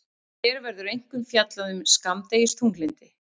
Hér verður einkum fjallað um skammdegisþunglyndi.